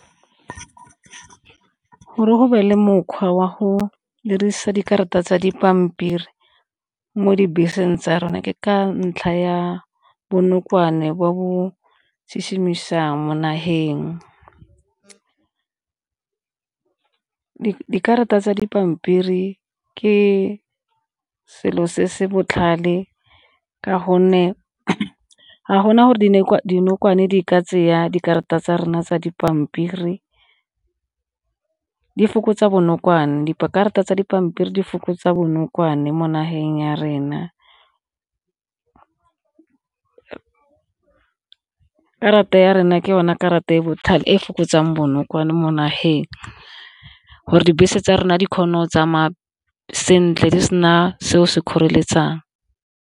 Gore go be le mokgwa wa go dirisa dikarata tsa dipampiri mo dibeseng tsa rona ke ka ntlha ya bonokwane bo bo mo nageng. Dikarata tsa dipampiri ke selo se se botlhale ka gonne ga gona gore dinokwane di ka dikarata tsa rona tsa dipampiri di fokotsa bonokwane, dikarata tsa dipampiri di fokotsa bonokwane mo nageng ya rena. Karata ya rena ke yone karata e e botlhale e e fokotsang bonokwane mo nageng, gore dibese tsa rona di kgone go tsamaya sentle di sena seo se di kgoreletsang.